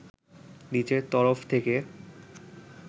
নিজের তরফ থেকে